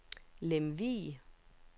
Lemvig